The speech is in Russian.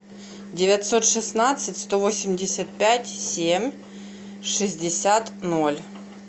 девятьсот шестнадцать сто восемьдесят пять семь шестьдесят ноль